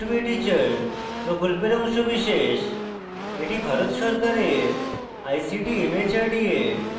এটি ভারত সরকারের ict mhrd এর জাতীয় সাক্ষরতা mission দ্বারা সমর্থিত